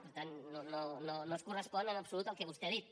per tant no es correspon en absolut amb el que vostè ha dit